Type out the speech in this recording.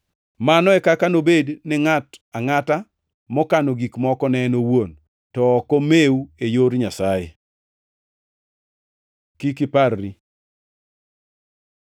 “Mano e kaka nobed gi ngʼato angʼata mokano gik moko ne en owuon to ok omew e yor Nyasaye.” Kik iparri